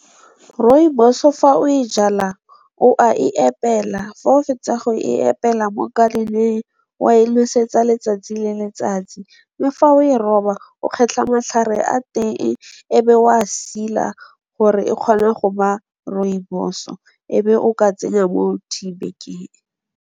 Rooibos-o fa o e jala o a e epela, fa o fetsa go e pela mo garden-eng, o a e lwesetsa letsatsi le letsatsi. Le fa o e roba o kgetlha matlhare a teng e be o a sila gore e kgone go ba rooibos-o e be o ka tsenya tea bag-eng.